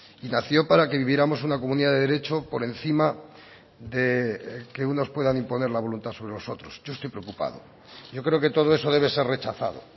nació para viviéramos en una comunidad de derecho por encima de que unos puedan imponer la voluntad sobre los otros yo estoy preocupado yo creo que todo eso debe ser rechazado